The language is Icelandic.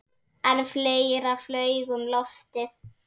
En fleira flaug um loftið.